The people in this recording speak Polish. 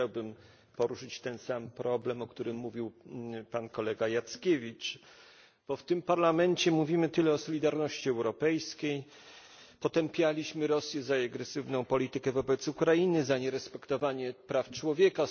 Ja chciałbym poruszyć ten sam problem, o którym mówił pan kolega Jackiewicz, bo w tym Parlamencie mówimy tyle o solidarności europejskiej, potępialiśmy Rosję za jej agresywną politykę wobec Ukrainy, za nierespektowanie praw człowieka.